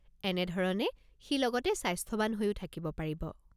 এনেধৰণে সি লগতে স্বাস্থ্যৱান হৈও থাকিব পাৰিব।